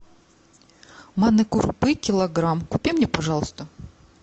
манной крупы килограмм купи мне пожалуйста